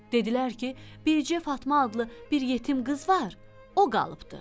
Dedilər ki, bircə Fatma adlı bir yetim qız var, o qalıbdı.